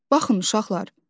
Baxın, uşaqlar.